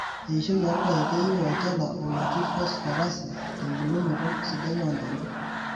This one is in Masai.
Eishoi orpayek keyieu olchala lotii fosforasi tembulunoto sidai oo ntona.